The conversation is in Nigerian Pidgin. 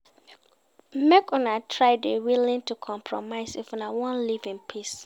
Make Una try de willing to compromise if Una won live in peace